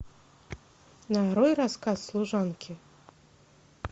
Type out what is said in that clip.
нарой рассказ служанки